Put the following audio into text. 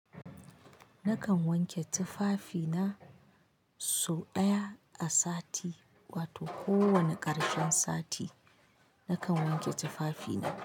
Nakan wanke tufafi na sau ɗaya a sati wato kowane ƙarshen sati, nakan wanke tufafi na.